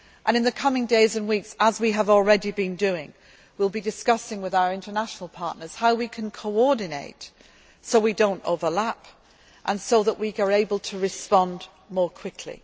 European Union. In the coming days and weeks, as we have already been doing, we will be discussing with our international partners how we can coordinate so that we do not overlap and so that we are able to respond